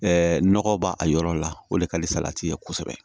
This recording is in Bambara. nɔgɔ b'a a yɔrɔ la o de ka di salati ye kosɛbɛ